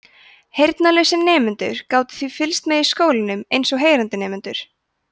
heyrnarlausir nemendur gátu þá fylgst með í skóla eins og heyrandi nemendur